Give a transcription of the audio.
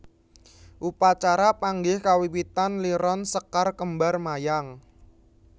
Upacara panggih kawiwitan liron sekar kembar mayang